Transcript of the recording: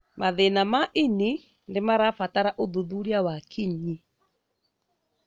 Mathĩna ma ini nĩmarabatara ũthuthuria wa kinyi